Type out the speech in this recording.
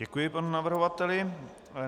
Děkuji panu navrhovateli.